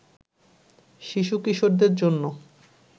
শিশুকিশোরদের জন্য